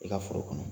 I ka foro kɔnɔ